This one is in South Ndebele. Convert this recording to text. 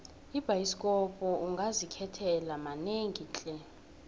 ebhayisikopo ungazikhethela manengi tle